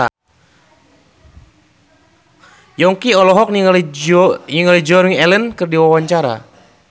Yongki olohok ningali Joan Allen keur diwawancara